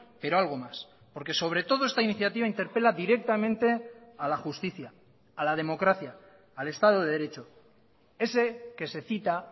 pero algo más porque sobre todo esta iniciativa interpela directamente a la justicia a la democracia al estado de derecho ese que se cita